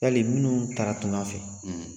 Yali minnu taara tunga fɛ